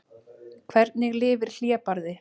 Hvernig lifir hlébarði?